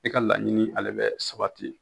E ka laɲini ale bɛ sabati